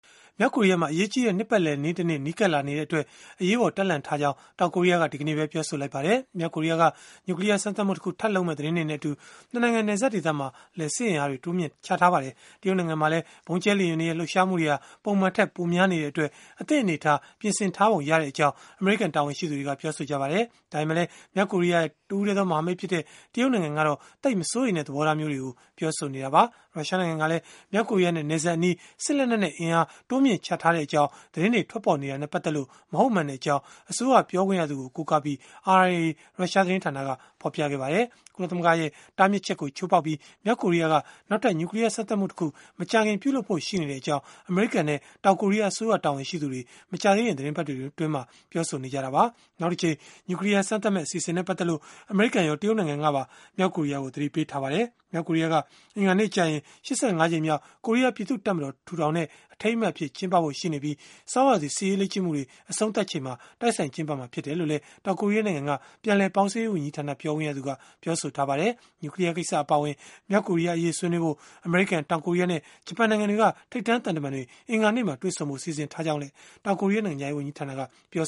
မြောက်ကိုရီးယားမှာ အရေးကြီးတဲ့ နှစ်ပတ်လည်နေ့တနေ့ နီးကပ်လာနေတဲ့အတွက် အရေးပေါ် တပ်လှန့်ထားကြောင်း တောင်ကိုရီးယားက ဒီကနေ့ပဲ ပြောဆိုလိုက်ပါတယ်။ မြောက်ကိုရီးယားက နျူကလီးယား စမ်းသပ်မှုတခု ထပ်လုပ်မယ့် သတင်းတွေနဲ့အတူ ၂ နိုင်ငံ နယ်စပ် ဒေသမှာလည်း စစ်အင်အားတွေ တိုးမြှင့်ထားတာပါ။ တရုတ်နိုင်ငံမှာလည်း ဗုံးကြဲလေယာဉ်တွေရဲ့ လှုပ်ရှားမှုတွေဟာ ပုံမှန်ထက်ပိုများ နေတဲ့အတွက် အသင့်အနေအထား ပြင်ဆင်ထားပုံရကြောင်း အမေရိကန် တာဝန်ရှိသူတွေက ပြောပါတယ်။ ဒါပေမဲ့လည်း မြောက်ကိုရီးယားရဲ့ တဦးတည်းသော မဟာမိတ်ဖြစ်တဲ့ တရုတ်နိုင်ငံကတော့ သိပ်မစိုးရိမ်တဲ့ သဘောထားမျိုး ပြောဆိုထားတာပါ။ ရုရှားနိုင်ငံကလည်း မြောက်ကိုရီးယားနဲ့ နယ်စပ်အနီး စစ်လက်နက်နဲ့ အင်အား တိုးမြှင့်ချထားကြောင်း သတင်းတွေ ထွက်ပေါ်နေတာနဲ့ ပတ်သက်လို့ မဟုတ်မှန်ကြောင်း အစိုးရပြောခွင့်ရသူကို ကိုးကားပြီး RIA ရုရှားသတင်းဌာနက ဖော်ပြခဲ့ပါတယ်။ ကုလသမဂ္ဂရဲ့ တားမြစ်ချက်ကို ချိုးဖောက်ပြီး မြောက်ကိုရီးယားက နောက်ထပ် နျူကလီးယား စမ်းသပ်မှုတခု မကြာခင် ပြုလုပ်ဖို့ ရှိနေတဲ့အကြောင်း အမေရိကန်နဲ့ တောင်ကိုရီးယား အစိုးရတာဝန်ရှိသူတွေက မကြာသေးခင် သီတင်းပတ်တွေမှာကတည်းက ပြောဆိုနေကြတာပါ။ နောက်တကြိမ် နျူကလီးယား စမ်းသပ်မယ့် အစီအစဉ်နဲ့ ပတ်သက်လို့ အမေရိကန်ရော၊ တရုတ်နိုင်ငံကပါ မြောက်ကိုရီးယားကို သတိပေးထားပါတယ်။ မြောက်ကိုရီးယားက အင်္ဂါနေ့ကျရင် ၈၅ ကြိမ်မြောက် ကိုရီးယားပြည်သူ့တပ်မတော် ထူထောင်တဲ့ အထိမ်းအမှတ်အဖြစ် ကျင်းပဖို့ ရှိနေပြီး၊ ဆောင်းရာသီ စစ်ရေးလေ့ကျင့်မှုတွေ အဆုံးသတ်ချိန်မှာ တိုက်ဆိုင်ကျင်းပမှာ ဖြစ်တယ်လို့လည်း တောင်ကိုရီးယားနိုင်ငံက ပြန်လည်ပေါင်းစည်းရေး ဝန်ကြီးဌာန ပြောခွင့်ရသူ Lee Duk-haeng ကပြောပါတယ်။ နျူကလီးယားကိစ္စ အပါအဝင် မြောက်ကိုရီးယား အရေးဆွေးနွေးဖို့ အမေရိကန်၊ တောင်ကိုရီးယားနဲ့ ဂျပန်နိုင်ငံတွေက ထိပ်တန်းသံတမန်တွေ အင်္ဂါနေ့မှာ တွေ့ဆုံဖို့ စီစဉ်ထားကြောင်းလည်း တောင်ကိုရီးယား နိုင်ငံခြားရေးဝန်ကြီးဌာနက ပြော